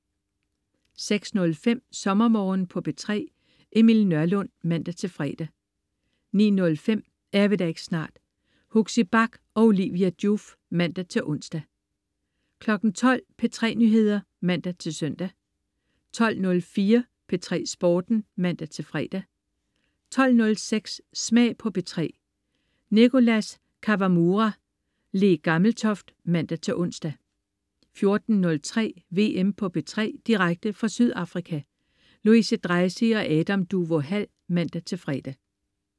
06.05 SommerMorgen på P3. Emil Nørlund (man-fre) 09.05 Er vi der ikke snart? Huxi Bach og Olivia Joof (man-ons) 12.00 P3 Nyheder (man-søn) 12.04 P3 Sporten (man-fre) 12.06 Smag på P3. Nicholas Kawamura/Le Gammeltoft (man-ons) 14.03 VM på P3. Direkte fra Sydafrika. Louise Dreisig og Adam Duvå Hall (man-fre)